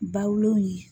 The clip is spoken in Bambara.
Bawolon ye